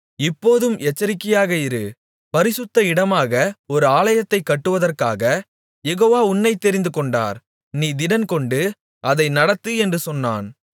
இப்போதும் எச்சரிக்கையாக இரு பரிசுத்த இடமாக ஒரு ஆலயத்தைக் கட்டுவதற்காகக் யெகோவா உன்னைத் தெரிந்து கொண்டார் நீ திடன்கொண்டு அதை நடத்து என்று சொன்னான்